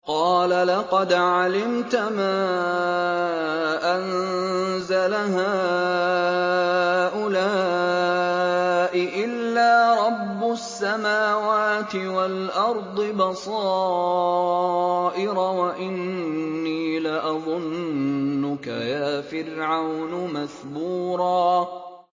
قَالَ لَقَدْ عَلِمْتَ مَا أَنزَلَ هَٰؤُلَاءِ إِلَّا رَبُّ السَّمَاوَاتِ وَالْأَرْضِ بَصَائِرَ وَإِنِّي لَأَظُنُّكَ يَا فِرْعَوْنُ مَثْبُورًا